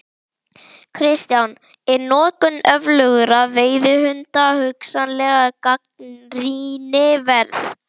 Kristján: Er notkun öflugra veiðihunda hugsanlega gagnrýni verð?